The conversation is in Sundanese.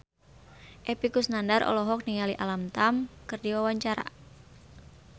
Epy Kusnandar olohok ningali Alam Tam keur diwawancara